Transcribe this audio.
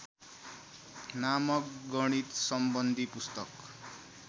नामक गणितसम्बन्धी पुस्तक